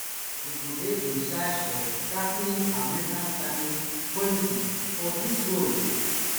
e go dey in charge of tackling america climate policy for dis role